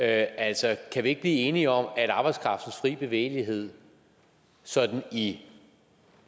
altså kan vi ikke blive enige om at arbejdskraftens fri bevægelighed sådan i